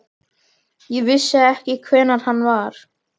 Ég vissi ekki hver hann var.